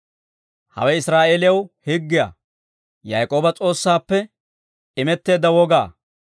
Hawe Israa'eeliyaw higgiyaa; Yaak'ooba S'oossaappe imetteedda woga.